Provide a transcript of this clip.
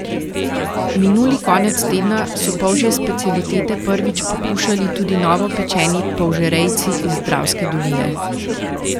Minuli konec tedna so polžje specialitete prvič pokušali tudi novopečeni polžerejci iz Dravske doline.